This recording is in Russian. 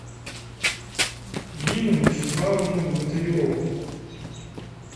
нину вячеславовну богатыреву